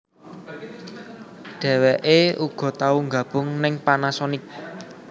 Dheweké uga tau nggabung ning Panasonic